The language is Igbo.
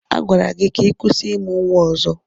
Agwara gị ka ị kwụsị ịmụ nwa ọzọ!